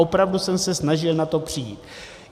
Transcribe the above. Opravdu jsem se snažil na to přijít.